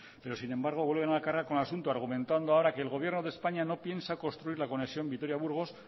sin embargo vuelven a la carga con el asunto argumentando ahora que el gobierno de españa no piensa construir la conexión vitoria burgos